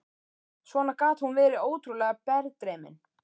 Svona gat hún verið ótrúlega berdreymin.